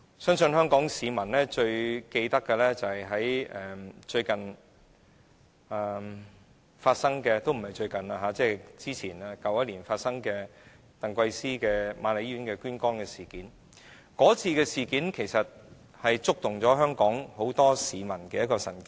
相信香港市民仍然記得去年在瑪麗醫院接受捐肝移植手術的鄧桂思事件，這次事件其實觸動了很多香港市民的神經。